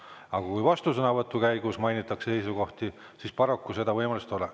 Aga kui vastusõnavõtu käigus mainitakse seisukohti, siis paraku seda võimalust ei ole.